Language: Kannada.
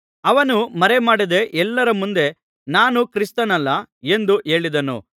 ಅವನು ಮರೆಮಾಡದೆ ಎಲ್ಲರ ಮುಂದೆ ನಾನು ಕ್ರಿಸ್ತನಲ್ಲ ಎಂದು ಹೇಳಿದನು